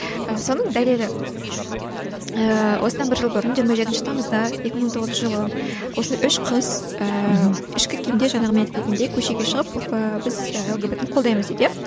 соның дәлелі ііі осыдан бір жыл бұрын жиырма жетінші тамызда екі мың он тоғызыншы жылы осында үш қыз ыыы ішкі киімде жаңағы мен айтып кеткендей көшеге шығып біз ііі лгбт ны қолдаймыз дейді иә